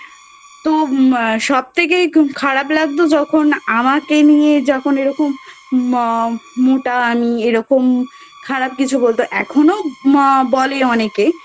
তো সব থেকে খারাপ লাগতো যখন আমাকে নিয়ে যখন এরকম ম মোটা আমি এরকম খারাপ কিছু বলতো এখনো মা বলে অনেকে